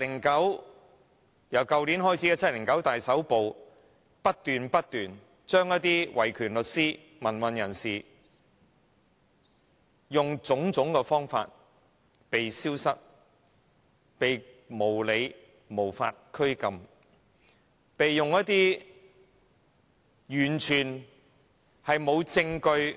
自去年開始的 "7.9 大抓捕"，當局用種種方法不斷使維權律師、民運人士"被消失"，甚至因應一些完全沒有證